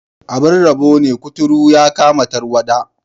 Abin rabo ne, kuturu ya kama tarwada.